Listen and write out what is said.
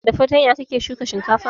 Da fartanya kake shuka shinkafa?